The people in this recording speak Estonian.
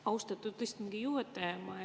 Austatud istungi juhataja!